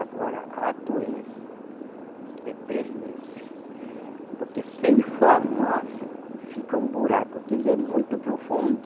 Agora a doença é três meses. É? Porque se inflamar fica um buraco, que ele é muito profundo.